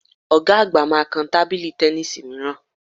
Ọ̀ga àgbà máa kan tábìlì tẹníìsì mìíràn